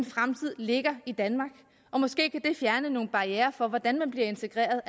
fremtid ligger i danmark og måske kan det fjerne nogle barrierer for hvordan man bliver integreret